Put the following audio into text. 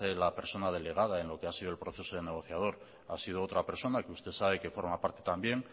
la persona delegada en lo que ha sido el proceso negociador ha sido otra persona que usted sabe que forma parte también